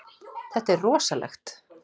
Þetta er rosalegt.